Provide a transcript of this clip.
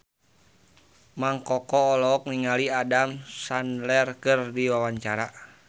Mang Koko olohok ningali Adam Sandler keur diwawancara